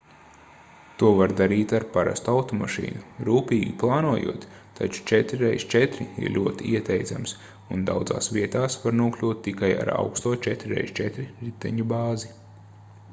to var darīt ar parastu automašīnu rūpīgi plānojot taču 4x4 ir ļoti ieteicams un daudzās vietās var nokļūt tikai ar augsto 4x4 riteņu bāzi